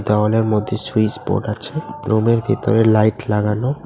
দেওয়ালের মধ্যে সুইচবোর্ড আছে রুম -এর ভিতর লাইট লাগানো।